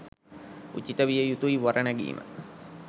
උචිත විය යුතුයි වර නැගීම.